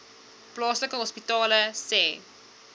plaaslike hospitale sê